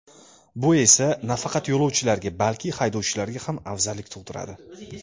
Bu esa, nafaqat yo‘lovchilarga, balki, haydovchilarga ham afzallik tug‘diradi.